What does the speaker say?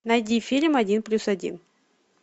найди фильм один плюс один